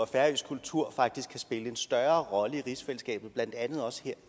færøsk kultur spille en større rolle i rigsfællesskabet blandt andet også her